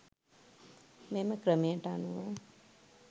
මෙම ක්‍රමයට අනුව